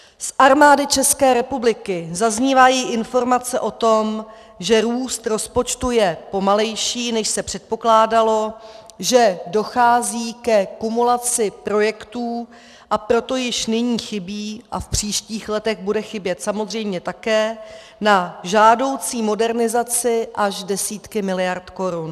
Z Armády České republiky zaznívají informace o tom, že růst rozpočtu je pomalejší, než se předpokládalo, že dochází ke kumulaci projektů, a proto již nyní chybí a v příštích letech budou chybět samozřejmě také na žádoucí modernizaci až desítky miliard korun.